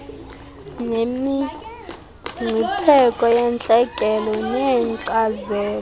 nemingcipheko yentlekele neenkcazelo